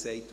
«Ich?